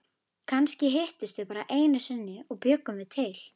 Kannski hittust þau bara einu sinni og bjuggu mig til.